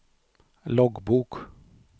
loggbok